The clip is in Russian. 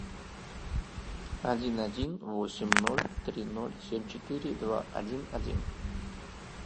один один восемь ноль три ноль семь четыре два один один